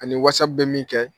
Ani Whatsapp bɛ min kɛ